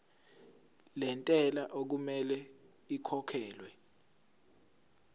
lentela okumele ikhokhekhelwe